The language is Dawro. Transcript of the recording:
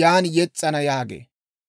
yan yes's'ana» yaagee.